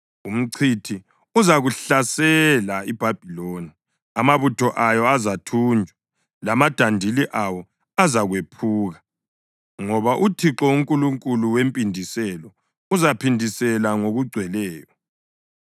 Umchithi uzakuzahlasela iBhabhiloni; amabutho ayo azathunjwa, lamadandili awo azakwephuka. Ngoba uThixo unguNkulunkulu wempindiselo; uzaphindisela ngokugcweleyo.